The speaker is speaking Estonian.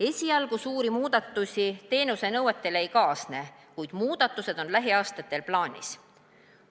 esialgu suuri muudatusi teenusenõuetes ei kaasne, kuid muudatused on lähiaastatel plaanis.